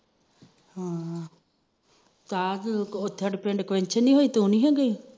ਹਮ ਤੂੰ ਨੀ ਗਈ